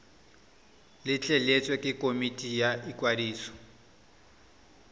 letleletswe ke komiti ya ikwadiso